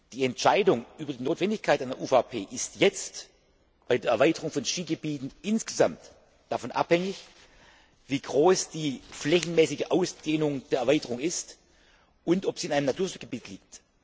Die Entscheidung über die Notwendigkeit einer UVP ist jetzt bei der Erweiterung von Skigebieten insgesamt davon abhängig, wie groß die flächenmäßige Ausdehnung der Erweiterung ist und ob sie in einem Naturschutzgebiet liegt.